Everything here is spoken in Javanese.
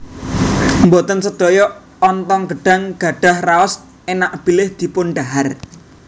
Boten sedaya ontong gedhang gadhah raos énak bilih dipundhahar